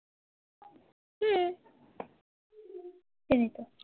চিনি ত